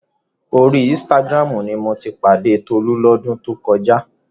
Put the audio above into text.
Orí Instagram ni mo ti pàdé Tolú lọ́dún tó kọjá.